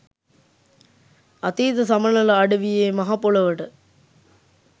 අතීත සමනල අඩවියේ මහපොළොවට